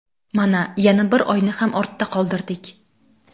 Mana, yana bir oyni ham ortda qoldirdik.